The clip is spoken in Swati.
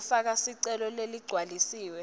lekufaka sicelo leligcwalisiwe